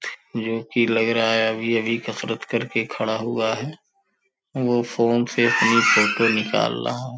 जो कि लग रहा है अभी-अभी कसरत करके खड़ा हुआ है। वो फोन से अपनी फोटो निकाल रहा है।